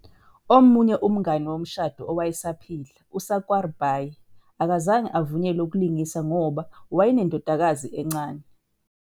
Omunye umngane womshado owayesaphila, uSakwarbai, akazange avunyelwe ukulingisa ngoba wayenendodakazi encane.